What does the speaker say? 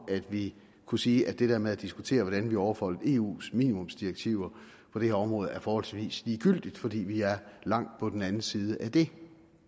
at vi kunne sige at det der med at diskutere hvordan vi overholder eus minimumsdirektiver på det her område er forholdsvis ligegyldigt fordi vi er langt på den anden side af det